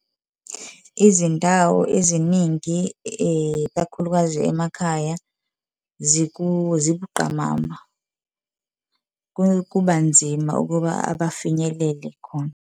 Izindawo eziningi ikakhulukazi emakhaya zibuqamama, kuba nzima ukuba bafinyelele khona.